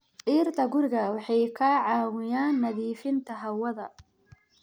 Dhirta guriga waxay ka caawiyaan nadiifinta hawada.